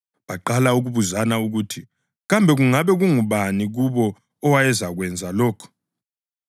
Baqala ukubuzana ukuthi kambe ngabe ngubani kubo owayezakwenza lokhu.